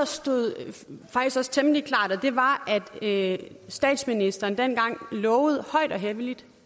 stod temmelig klart og det var at statsministeren dengang højt og helligt